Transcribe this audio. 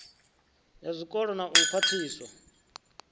ya zwikolo na u khwaṱhisa